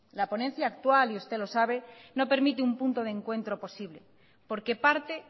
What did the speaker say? la ponencia actual y usted lo sabe no permite un punto de encuentro posible porque parte